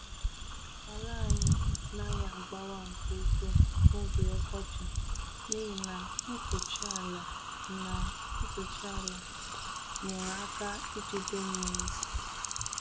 Ala anyị naghị agbawa nke ukwuu n’oge ọkọchị n’ihi na mkpuchi ala na mkpuchi ala nyere aka ijide mmiri.